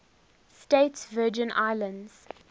states virgin islands